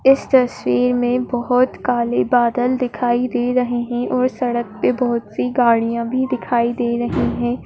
इस तस्वीर में बहुत काले बादल दिखाई दे रहे हैं और सड़क पे बहुत सी गाड़ियां भी दिखाई दे रही हैं।